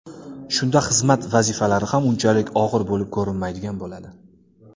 Shunda xizmat vazifalari ham unchalik og‘ir bo‘lib ko‘rinmaydigan bo‘ladi.